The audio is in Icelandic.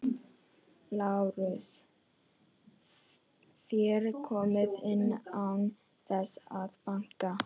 LÁRUS: Þér komið inn án þess að banka.